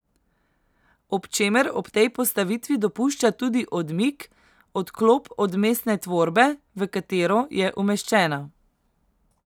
Ob čemer ob tej postavitvi dopušča tudi odmik, odklop od mestne tvorbe, v katero je umeščena.